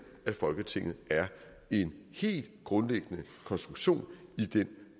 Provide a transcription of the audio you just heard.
at folketinget er en helt grundlæggende konstruktion i den